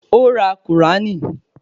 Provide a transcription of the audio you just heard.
Ó ra Kùránì